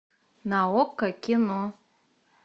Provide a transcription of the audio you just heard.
на окко кино